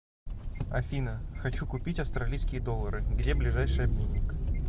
афина хочу купить австралийские доллары где ближайший обменник